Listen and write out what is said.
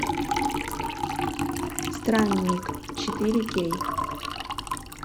странник четыре кей